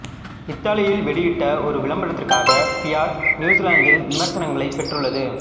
இத்தாலியில் வெளியிட்ட ஒரு விளம்பரத்திற்காக ஃபியட் நியூசிலாந்தில் விமர்சனங்களைப் பெற்றுள்ளது